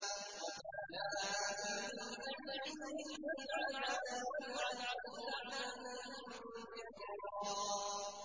رَبَّنَا آتِهِمْ ضِعْفَيْنِ مِنَ الْعَذَابِ وَالْعَنْهُمْ لَعْنًا كَبِيرًا